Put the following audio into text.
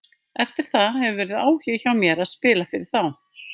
Eftir það hefur verið áhugi hjá mér að spila fyrir þá.